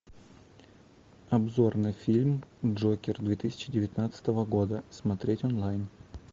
обзор на фильм джокер две тысячи девятнадцатого года смотреть онлайн